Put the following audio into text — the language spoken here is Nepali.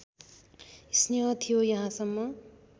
स्नेह थियो यहाँसम्म